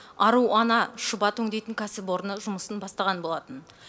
ару ана шұбат өңдейтін кәсіпорны жұмысын бастаған болатын